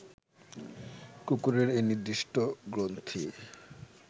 কুকুরের এই নির্দিষ্ট গ্রন্থি